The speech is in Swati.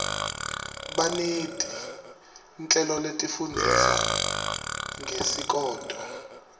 baneti nhleloletifundzisa ngesikoto